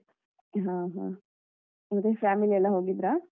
ಹ ಹ ಮತ್ತೆ family ಎಲ್ಲ ಹೋಗಿದ್ರಾ?